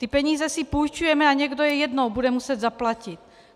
Ty peníze si půjčujeme a někdo je jednou bude muset zaplatit.